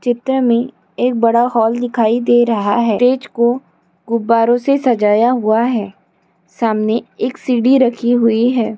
चित्र मे एक बड़ा हॉल दिखाई दे रहा हैं स्टेज को गुब्बारों से सजाया हुआ है सामने एक सीढ़ी रखी हुई है।